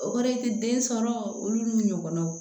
O kɔrɔ ye den sɔrɔ olu n'u ɲɔgɔnnaw